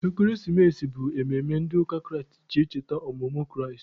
Ekeresimesi bụ mmemme ndị ụka Kraịst ji echeta ọmụmụ Kraịst.